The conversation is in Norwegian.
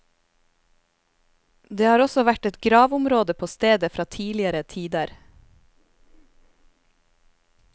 Det har også vært et gravområde på stedet fra tidligere tider.